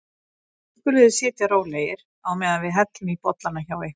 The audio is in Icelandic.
Nú skuluð þið sitja rólegir á meðan við hellum í bollana hjá ykkur.